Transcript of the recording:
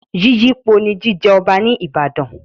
Yíyípo ni jíjẹ Ọba ní Ìbàdàn.